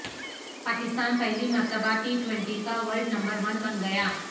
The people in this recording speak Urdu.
پاکستان پہلی مرتبہ ٹی ٹوئنٹی کا ورلڈ نمبر ون بن گیا